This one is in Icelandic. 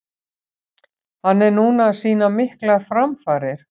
Hann er núna að sýna miklar framfarir.